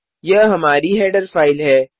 यह हमारी header file है